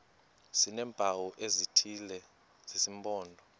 sineempawu ezithile zesimpondo